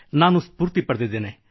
ನಾನು ಸ್ಫೂರ್ತಿ ಪಡೆದಿದ್ದೇನೆ